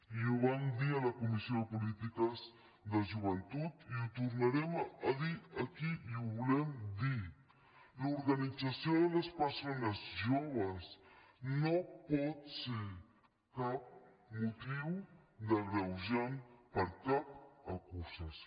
i ho vam dir a la comissió de polítiques de joventut i ho tornarem a dir aquí i ho volem dir l’organització de les persones joves no pot ser cap motiu d’agreujant per a cap acusació